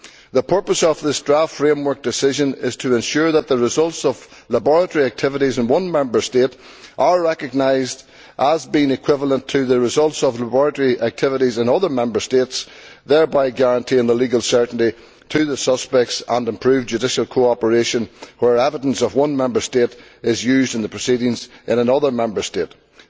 The purpose of this draft framework decision is to ensure that the results of laboratory activities in one Member State are recognised as being equivalent to the results of laboratory activities in other Member States, thereby guaranteeing legal certainty to the suspects and improved judicial cooperation where evidence of one Member State is used in proceedings in another Member State.